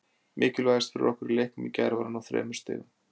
Mikilvægast fyrir okkur í leiknum í gær var að ná þremur stigum.